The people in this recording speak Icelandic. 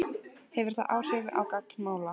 Hefur það áhrif á gang mála?